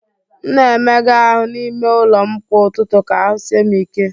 M na-emega ahụ́ n'ime ụlọ m kwa ụtụtụ ka ahụ́ sie m ike.